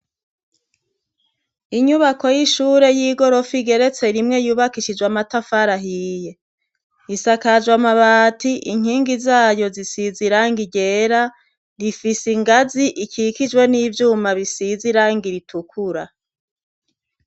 Inyubako y'ishure y'igorofa igeretse rimwe yubakishijwe amatafarahiye isakajwe amabati inkingi zayo zisiz iranga igera rifise ingazi ikikijwe n'ivyuma bisizeiranga ritukura.